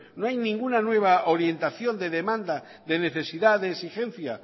no hay ninguna nueva orientación de demanda de necesidad de exigencia